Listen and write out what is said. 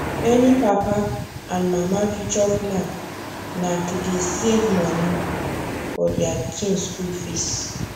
many papa and mama future plan na to dey safe moni for deir pikin school fees